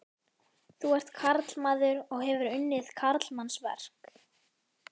Þú ert karlmaður og hefur unnið karlmannsverk.